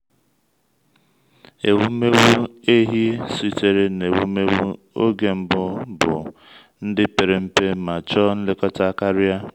ụmụ ehi sitere n’ewumewụ oge mbụ bụ ndị pere mpe ma chọọ nlekọta karia